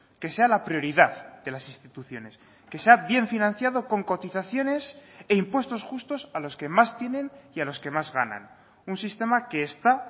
que sea la prioridad de las instituciones que sea bien financiado con cotizaciones e impuestos justos a los que más tienen y a los que más ganan un sistema que está